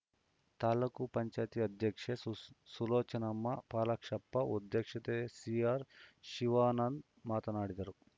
ತಾಲೂಕ್ ಪಂಚಾಯತ್ ಅಧ್ಯಕ್ಷೆ ಸುಲೋಚನಮ್ಮಪಾಲಾಕ್ಷಪ್ಪ ಉಪಾಧ್ಯಕ್ಷ ಸಿಆರ್‌ಶಿವಾನಂದ್‌ ಮಾತನಾಡಿದರು